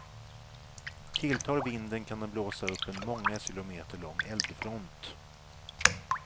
Tilltar vinden kan den blåsa upp en många kilometer lång eldfront.